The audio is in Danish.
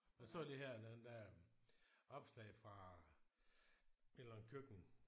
Jeg så lige her den anden dag opslag fra et eller andet køkken